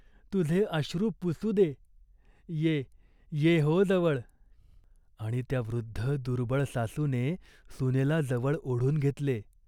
तुझे अश्रू पुसू दे. ये, ये हो जवळ," आणि त्या वृद्ध दुर्बळ सासूने सुनेला जवळ ओढून घेतले.